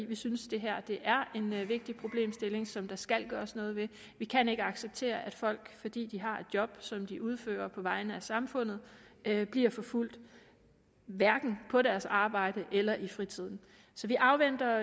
vi synes det her er en vigtig problemstilling som der skal gøres noget ved vi kan ikke acceptere at folk fordi de har et job som de udfører på vegne af samfundet bliver forfulgt hverken på deres arbejde eller i fritiden så vi afventer